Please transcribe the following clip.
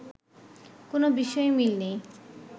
কোনো বিষয়েই মিল নেই